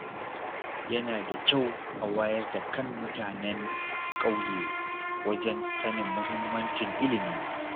Yana da kyau a wayar da kan mutanen ƙyauye wajen sanin muhimmancin ilimi.